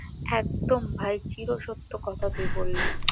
একদম ভাই চিরসত্য কথা তুই বললি